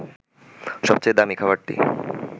সবচেয়ে দামী খাবারটি